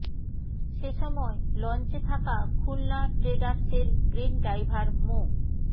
সে সময় লঞ্চে থাকা খুলনা ট্রেডার্সের ক্রেন ড্রাইভার মো